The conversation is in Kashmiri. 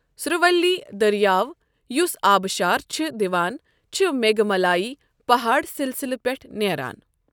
سُرولی دریاو یوٚس آبشار چھِ دِوان چھِ میگھمالائی پہاڑ سلسلہٕ پٮ۪ٹھ نیران۔